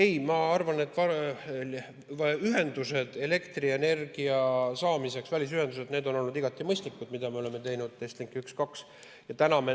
Ei, ma arvan, et välisühendused elektrienergia saamiseks, mida me oleme teinud, on olnud igati mõistlikud, Estlink 1 ja 2.